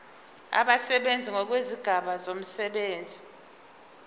abasebenzi ngokwezigaba zomsebenzi